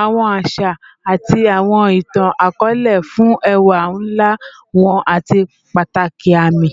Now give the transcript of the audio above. awọn aṣa ati awọn itan-akọọlẹ fun ẹwa nla wọn ati pataki aami.